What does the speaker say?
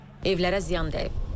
Evlərə ziyan dəyib.